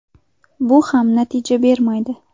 Bu ham natija bermaydi.